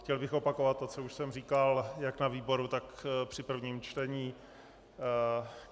Chtěl bych opakovat to, co už jsem říkal jak na výboru, tak při prvním čtení.